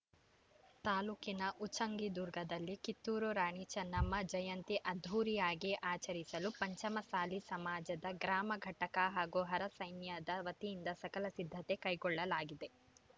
ತಾಲೂಕಿನ ಉಚ್ಚಂಗಿದುರ್ಗದಲ್ಲಿ ಕಿತ್ತೂರು ರಾಣಿ ಚೆನ್ನಮ್ಮ ಜಯಂತಿ ಅದ್ದೂರಿಯಾಗಿ ಆಚರಿಸಲು ಪಂಚಮಸಾಲಿ ಸಮಾಜದ ಗ್ರಾಮ ಘಟಕ ಹಾಗೂ ಹರ ಸೈನ್ಯದ ವತಿಯಿಂದ ಸಕಲ ಸಿದ್ದತೆ ಕೈಗೊಳ್ಳಲಾಗಿದೆ